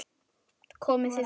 Komið þið sæl.